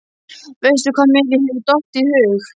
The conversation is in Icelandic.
Veistu hvað mér hefur dottið í hug?